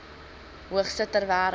hoogste ter wêreld